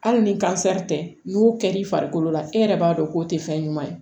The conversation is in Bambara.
Hali ni kansɛri tɛ n'u kɛr'i farikolo la e yɛrɛ b'a dɔn k'o tɛ fɛn ɲuman ye